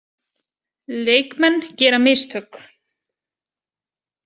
Leikmenn gera mistök.